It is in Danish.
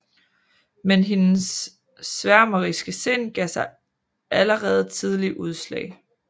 Men hendes sværmeriske sind gav sig allerede tidlig udslag